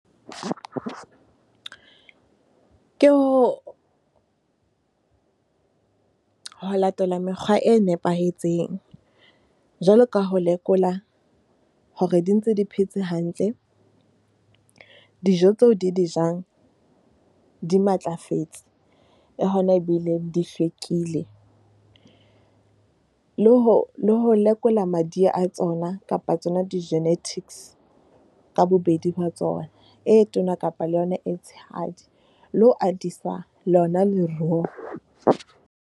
Ke ho, ho latela mekgwa e nepahetseng jwaloka ho lekola hore di ntse di phetse hantle. Dijo tseo di, di jang di matlafetse, le hona ebile di hlwekile. Le ho lekola madi a tsona kapa tsona di-genetics ka bobedi ba tsona e tona kapa le yona e tshehadi le ho atisa lona .